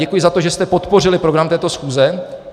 Děkuji za to, že jste podpořili program této schůze.